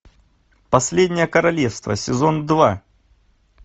последнее королевство сезон два